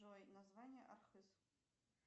джой название архыз